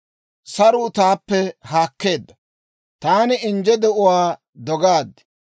Saruu taappe haakkeedda; taani injje de'uwaa dogaad.